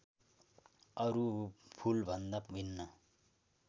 अरू फुलभन्दा भिन्न